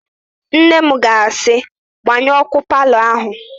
Nne m ga-asị, "gbanyụọ ọ́kụ́ palọ áhụ̀"!